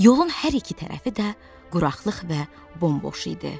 Yolun hər iki tərəfi də quraqlıq və bomboş idi.